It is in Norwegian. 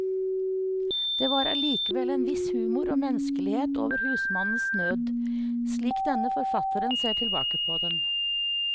Det var allikevel en viss humor og menneskelighet over husmannens nød, slik denne forfatteren ser tilbake på den.